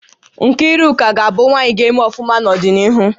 Nkiruka ga-abu nwaanyị gá-eme ọfụma n'odinihu